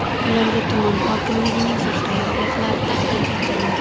Ularga tuman hokimligining faxriy yorliqlari taqdim etildi.